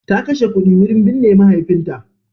Ta kashe kuɗi wurin binne mahaifinta.